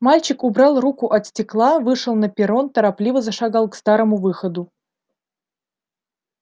мальчик убрал руку от стекла вышел на перрон торопливо зашагал к старому выходу